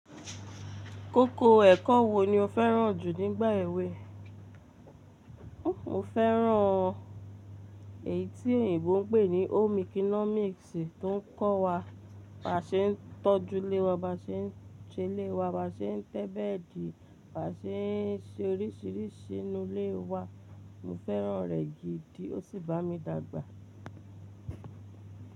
Koko ẹ̀kọ́ wo ni o fẹ́ràn jù nígbà èwe? Mo fẹ́ràn èyí tí oyinbo ń pè ní home economics tó ń kọ́ wa ba ṣe ń tọ́jú ilé wa, ba ṣe ń ṣe ilé wa, ba ṣe ń tẹ́ bẹ́ẹ̀dì, ba ṣe ń ṣe oríṣìíríṣìí inú ilé wa. Mo fẹ́ràn rẹ̀ gidi o sì bá mi dàgbà.